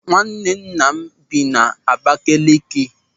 Nwanne nna m bi n'Abakeleke.